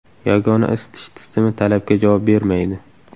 Yagona isitish tizimi talabga javob bermaydi.